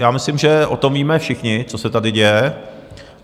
Já myslím, že o tom víme všichni, co se tady děje.